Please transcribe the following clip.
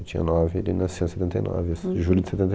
Eu tinha nove e ele nasceu em setenta e nove, julho de